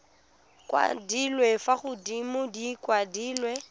kwadilwe fa godimo di kwadilwe